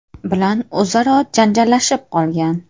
bilan o‘zaro janjallashib qolgan.